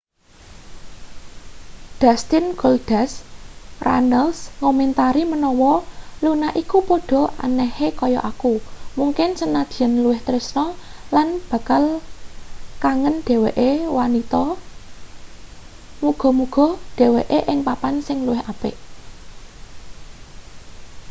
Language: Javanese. dustin goldust runnels ngomentari menawa luna iku padha anehe kaya aku...mungkin senajan luwih...tresna lan bakal kangen dheweke wanita...muga-muga dheweke ing papan sing luwih apik.